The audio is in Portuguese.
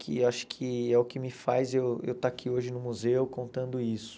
Que eu acho que é o que me faz eu eu estar aqui hoje no museu contando isso.